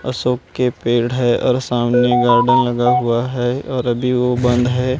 अशोक के पेड़ है और सामने गार्डन लगा हुआ है और अभी वो बंद है।